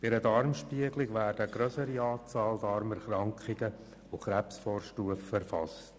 Bei einer Darmspiegelung werden eine grössere Anzahl von Darmerkrankungen und Krebsvorstufen erfasst.